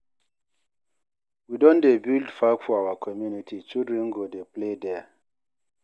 We don dey build park for our community, children go dey play there.